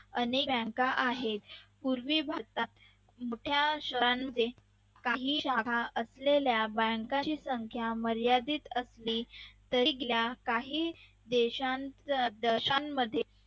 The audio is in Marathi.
अनेक bank आहेत पूर्वी भारतात मोठ्या शहरांमध्ये काही जागा असलेल्या बँकांची संख्या मर्यादित असली तरी तिला काही देशांमध्ये